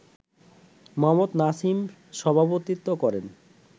মোহাম্মদ নাসিম সভাপতিত্ব করেন